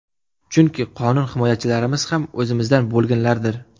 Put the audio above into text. Chunki qonun himoyachilarimiz ham o‘zimizdan bo‘lganlardir.